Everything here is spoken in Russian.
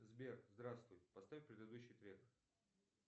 сбер здравствуй поставь предыдущий трек